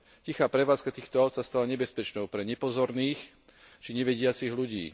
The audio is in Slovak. Tichá prevádzka týchto áut sa stala nebezpečnou pre nepozorných či nevidiacich ľudí.